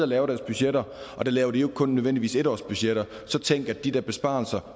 laver deres budgetter og der laver de jo ikke kun nødvendigvis en årsbudgetter så tænk at de der besparelser